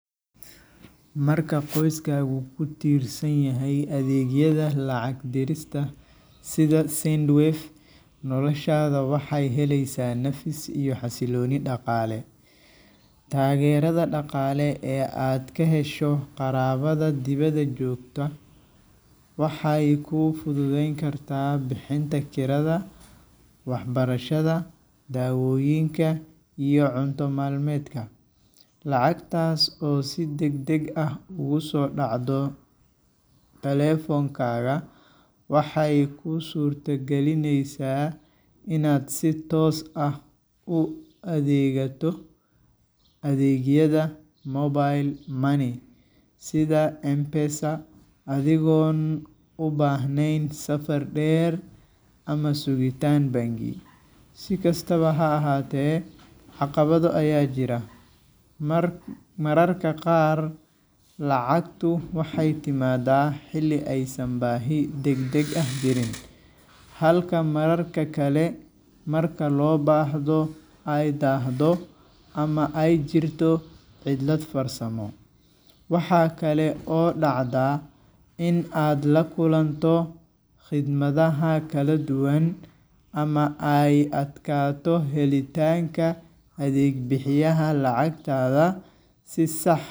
Marka qoyskaagu ku tiirsan yahay adeegyada lacag dirista sida Sendwave, noloshaada waxay helaysaa nafis iyo xasillooni dhaqaale. Taageerada dhaqaale ee aad ka hesho qaraabada dibadda joogta waxay kuu fududayn kartaa bixinta kirada, waxbarashada, daawooyinka, iyo cunto maalmeedka. Lacagtaas oo si degdeg ah ugu soo dhacdo taleefankaaga, waxay kuu suurtagelinaysaa inaad si toos ah u adeegato adeegyada mobile money sida M-Pesa, adigoon u baahnayn safar dheer ama sugitaan bangi. Si kastaba ha ahaatee, caqabado ayaa jira. Mar Mararka qaar lacagtu waxay timaaddaa xilli aysan baahi degdeg ah jirin, halka mararka kale, marka loo baahdo, ay daahdo ama ay jirto cilad farsamo. Waxaa kale oo dhacda in aad la kulanto khidmadaha kala duwan, ama ay adkaato helitaanka adeeg bixiyaha lacagtaada si sax.